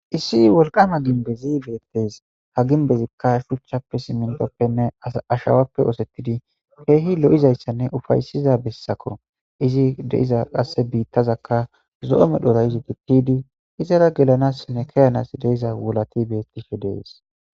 Issi wolqama ginbezi beettes ha ginbezikka shuchchappe simintoppenne ashawappe oosettidi keehi lo'izayssanne ufaysiza bessako izi deiza qasse biittazakka zo'ome dhora izi gitidi izara gelanassnne keyanas deiza wulati bettihe dees